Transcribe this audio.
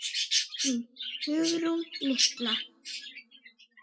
Þín Hugrún litla.